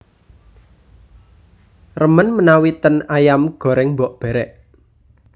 Remen menawi ten Ayam Goreng Mbok Berek